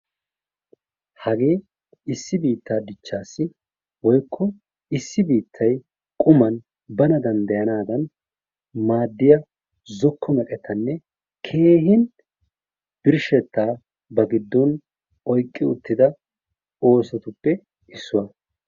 Hagee issi bittaa diichchaasi woykko issi biittay quman bana danddayana mala maaddiyaa zookko meqettanne keehin birshshettaa ba giddon oyqqi uttida oosotuppe issuwaa.